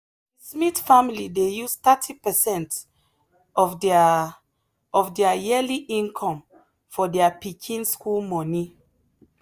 the smith family dey use thirty percent of their of their yearly income for their pikin school money.